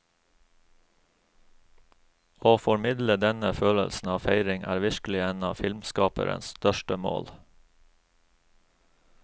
Å formidle denne følelsen av feiring er virkelig en av filmskaperens største mål.